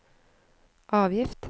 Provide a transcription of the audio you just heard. avgift